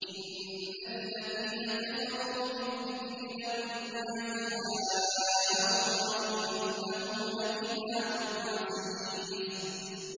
إِنَّ الَّذِينَ كَفَرُوا بِالذِّكْرِ لَمَّا جَاءَهُمْ ۖ وَإِنَّهُ لَكِتَابٌ عَزِيزٌ